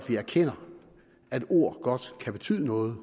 vi erkender at ord godt kan betyde noget